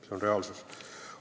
See on reaalsus.